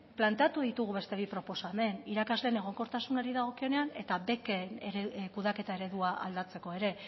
planteatu ditugu beste bi proposamen irakasleen egonkortasunari dagokionean eta beken kudeaketa eredua aldatzeko ere